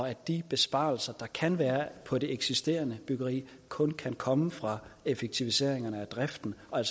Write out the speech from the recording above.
at de besparelser der kan være på det eksisterende byggeri kun kan komme fra effektiviseringer af driften og